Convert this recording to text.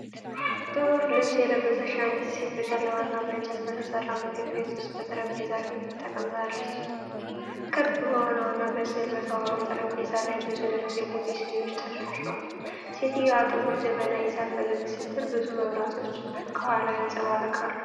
ጥቁር ልብስ የለበሰች አንዲት ሴት በጨለማና በእንጨት በተሠራ ምግብ ቤት ውስጥ በጠረጴዛ ፊት ተቀምጣለች። ክብ በሆነውና በስዕል በተዋበው ጠረጴዛ ላይ ብዙ ነጭ የቡና ሲኒዎች ተደርድረዋል። ሴትየዋ ጥቁር ጀበና ይዛ ፈገግ ስትል፣ ብዙ መብራቶች ከኋላዋ ይንፀባረቃሉ።